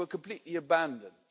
we were completely abandoned'.